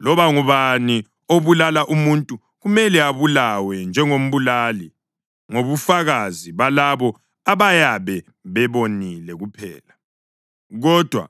Loba ngubani obulala umuntu kumele abulawe njengombulali ngobufakazi balabo abayabe bebonile kuphela. Kodwa